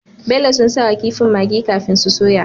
Bello sun sawa kifin maggi kafin su soya